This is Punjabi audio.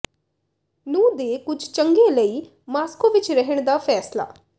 ਨੂੰ ਦੇ ਕੁਝ ਚੰਗੇ ਲਈ ਮਾਸਕੋ ਵਿਚ ਰਹਿਣ ਦਾ ਫੈਸਲਾ